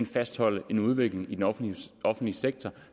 fastholde en udvikling i den offentlige offentlige sektor